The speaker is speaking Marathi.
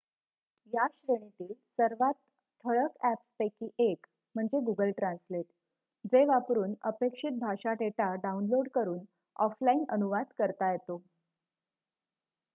या श्रेणीतील सर्वात ठळक अ‍ॅप्सपैकी एक म्हणजे गुगल ट्रान्सलेट जे वापरून अपेक्षित भाषा डेटा डाउनलोड करून ऑफलाइन अनुवाद करता येतो